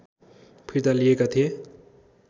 फिर्ता लिएका थिए